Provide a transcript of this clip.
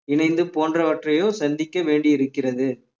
இணைந்து போன்றவற்றையோ சந்திக்க வேண்டியிருக்கிறது